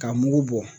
Ka mugu bɔ